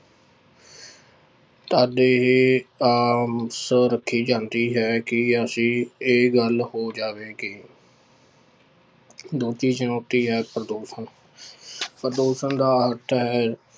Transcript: ਤਦ ਇਹ ਆਸ ਰੱਖੀ ਜਾਂਦੀ ਹੈ ਕਿ ਅਸੀਂ ਇਹ ਗੱਲ ਹੋ ਜਾਵੇਗੀ ਦੂਜੀ ਚੁਣੋਤੀ ਹੈ ਪ੍ਰਦੂਸ਼ਣ ਪ੍ਰਦੂਸ਼ਣ ਦਾ ਅਰਥ ਹੈ,